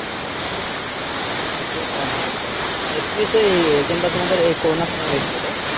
Ninety two বাহ ভালোতো । এহ তুমিতো এই Exam টা তোমাদের এই করোনার সময় হয়েছিলোতো